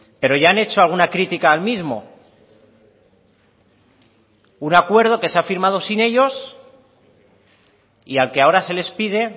pero ya han hecho alguna crítica al mismo un acuerdo que se ha firmado sin ellos y al que ahora se les pide